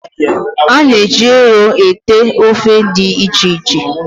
A na-eji ero ete ofe dị iche iche